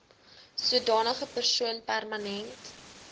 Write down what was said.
sodanige persoon permanent